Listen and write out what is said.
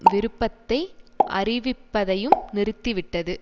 விருப்பத்தை அறிவிப்பதையும் நிறுத்தி விட்டது